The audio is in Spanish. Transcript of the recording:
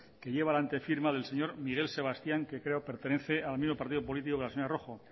que lleva la antefirma del señor miguel sebastián que creo que pertenece al mismo partido político que la señora rojo